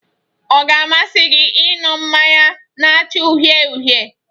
Ọ ga-amasị gị ị ñụ mmanya na-acha uhie uhie?